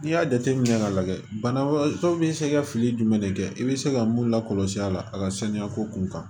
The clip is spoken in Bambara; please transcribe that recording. N'i y'a jateminɛ k'a lajɛ bana wɛrɛw bɛ se ka fili jumɛn de kɛ i bɛ se ka mun lakɔlɔsi a la a ka saniya ko kun kan